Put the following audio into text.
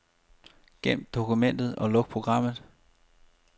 Gem dokumentet og luk programmet.